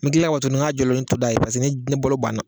N mi kila to k'a jɔlen to da yen pase ni balo banna